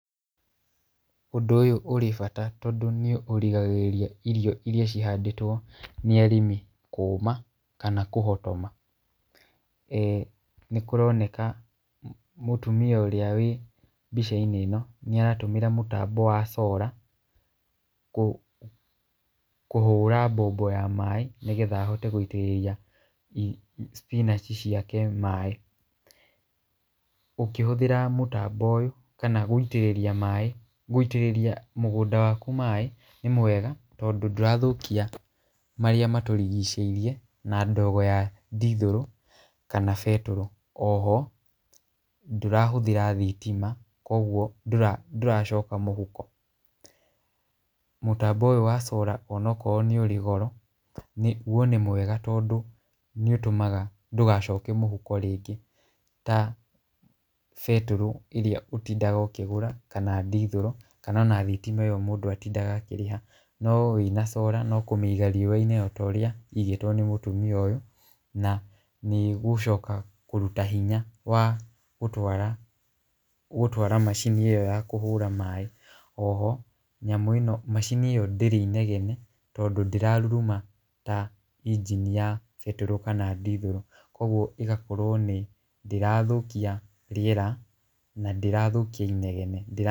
Ũndũ ũyũ ũrĩ bata tondũ nĩ ũrigagĩrĩria irio iria cihandĩtwo nĩ arĩmi kũuma, kana kũhotoma,e nĩkũroneka mũtumia ũrĩa wĩ mbica-inĩ ĩno nĩ aratũmĩra mũtambo wa solar, kũ kũhũra mbombo ya maaĩ nĩgetha ahote kũitĩrĩria Spinach ciake maaĩ, ũkĩhũthĩra mũtambo ũyũ, kana gũitĩrĩria maaĩ gũitĩrĩria mũgũnda waku maaĩ, nĩ mwega tondũ ndũrathũkia marĩa matũrigicĩirie na ndogo ya ndithũrũ kana betũrũ, oho ndũrahũthĩra thitima , kũgwo ndũra ndũracoka mũhuko, mũtambo ũyũ wa solar ona akorwo nĩ ũrĩ goro, gwo nĩ mwega tondũ nĩ ũtũmaga ndũgacoke mũhuko rĩngĩ ,ta betũrũ ĩrĩa ũtindaga ũkĩgũra kana dithũrũ, kana ona thitima ĩyo mũndũ atindaga akĩrĩha , no wĩna solar no kũmĩiga riũa-inĩ ota ũrĩa ĩigĩtwo nĩ mũtumia ũyũ, na nĩ gũcoka kũruta hinya wa gũtwara gũtwara macini ĩyo ya kũhũra maaĩ, oho nyamũ ĩno macini ĩyo ndĩrĩ inegene tondũ ndĩraruruma ta injini ya betũrũ kana ndithũrũ , kũgwo ĩgakorwo nĩ ndĩrathũkia rĩera na ndĩrathũkia inegene.